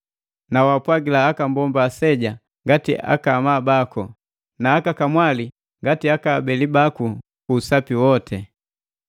na waapwagila aka mbomba aseja ngati akaamabaku, na aka kamwali ngati akaabeli baku, ku usapi woti.